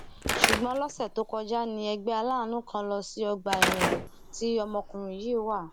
ṣùgbọn lọsẹ tó kọjá ní ẹgbẹ aláàánú kan lọ sí ọgbà ẹwọn tí ọmọkùnrin yìí wà